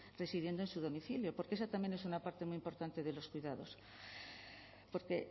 residiendo en su domicilio porque esa también es una parte muy importante de los cuidados porque